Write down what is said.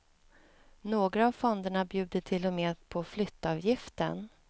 Några av fonderna bjuder till och med på flyttavgiften.